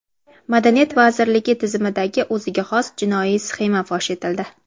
Madaniyat vazirligi tizimidagi o‘ziga xos jinoiy sxema fosh etildi.